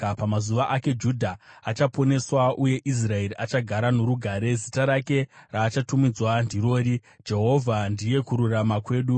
Pamazuva ake Judha achaponeswa uye Israeri achagara norugare. Zita rake raachatumidzwa ndirori rokuti: Jehovha Ndiye Kururama Kwedu.